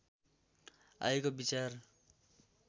आएको विचार